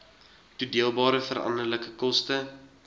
toedeelbare veranderlike koste